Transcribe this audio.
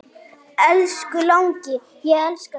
Elsku langi, ég elska þig.